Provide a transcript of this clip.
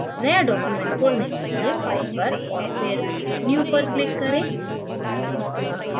नया document खोलने के लिए file पर और फिर new पर click करें